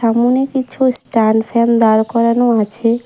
মনে কিছু স্ট্যান্ডফ্যান দাঁড় করানো আছে।